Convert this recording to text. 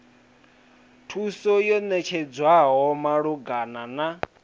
thuso yo ṋetshedzwaho malugana na